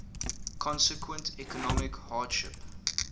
consequent economic hardship